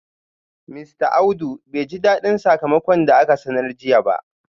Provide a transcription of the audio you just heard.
Mista Audu bai ji dadin sakamakon da aka sanar jiya ba